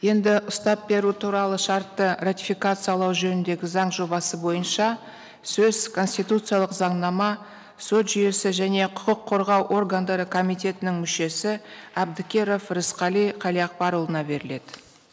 енді ұстап беру туралы шартты ратификациялау жөніндегі заң жобасы бойынша сөз конституциялық заңнама сот жүйесі және құқық қорғау органдары комитетінің мүшесі әбдікеров рысқали қалиақбарұлына беріледі